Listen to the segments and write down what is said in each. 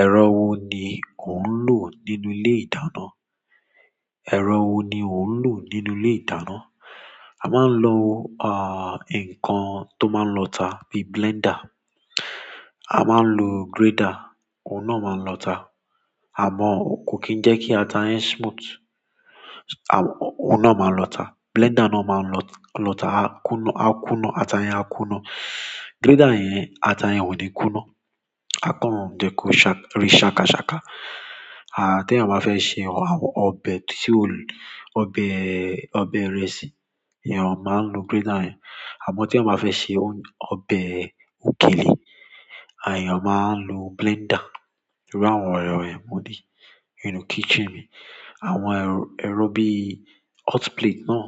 Ẹ̀rọ wo ni ò ń lò nínú ilé ìdáná? Ẹ̀rọ wo ni ò ń lò nínú ilé ìdáná? A máa ń lo, ah, nǹkan tó máa ń lọ ata bí blender. A máa ń lo grater, òun náà máa lọ ata. Àmọ́, kò kí ń jẹ́ kí ata yẹn smooth, à, o-òun náà máa lọ ata. Blender náà máa ń lọ-lọ ata a kúná, a kúná, ata yẹn á kúná. Grater yẹn, ata yẹn ò ní kúná, a kán jẹ́ ko rì ṣakaṣaka. A, tí a máa fẹ́ ṣe ọbẹ tí ó-- ọbẹ, ọbẹ ìrẹsì, iyẹn a máa ń lo grater yẹn. Àmọ́ tí a máa fẹ́ ṣe ọbẹ òkèlè, ayẹn a máa ń lo blender. Irú àwọn ọ̀rọ̀ ẹ́ mú di nínú kitchen mi. Àwọn ẹ̀r-ẹ̀rọ bí hot plate náà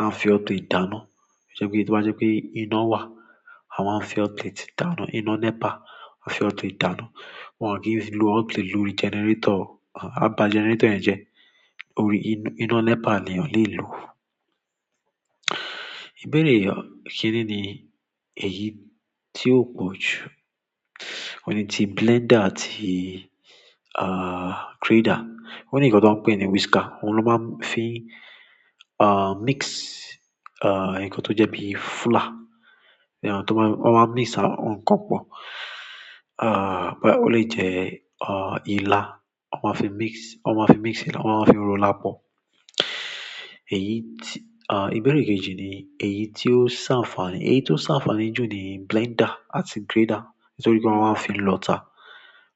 a fi hot plate dáná. Tí wọ́n bá jẹ́ pé iná wà, àwa ń fi hot plate dáná. Iná NEPA, a fi hot plate dáná. Wọn kì í lo hot plate nínú generator, a baa generator yen je orí iná NEPA ni a lè lò ó. Ìbéèrè kíni ni èyí tí o pọ̀ jù nínú tí blender àti, ah, grater? Òun nìkan tó ń pé ni whisker, òun ló máa ń fi, ah, mix, ah, nǹkan tó jẹ́ bí fúlá. Iyẹn tó máa-- wọ́n máa mix nǹkan pọ̀. Ah, bí ó le jẹ́, ah, ilá, wọ́n máa fi mix, wọ́n máa fi mix ilá, wọ́n máa fi ro ila pọ̀. Èyí tí, ah, ìbéèrè kejì ni èyí tí ó se anfàni. Èyí tí ó se anfàni ní ju ni blender àti grater. Nítorí pé wọ́n máa ń fi lọ ata.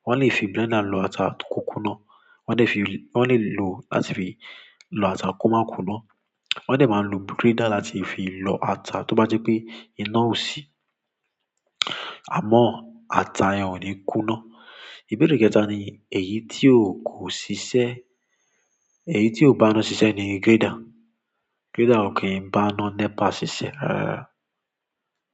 Won le fi blender lo ata ko kunna, won le fi lo ata ko ma kunna. Wọ́n dè máa n lo grater láti fi lọ ata tí o bá jẹ́ pé iná ò sí. Àmọ́, ata yẹn ò ní kúná. Ìbéèrè kẹta ni èyí ti o ko sise èyí tí ò bá ina ṣiṣẹ́ ni grater. Grater ò kí ń bá ina NEPA ṣiṣẹ́. Rárá.